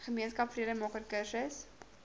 gemeenskap vredemaker kursus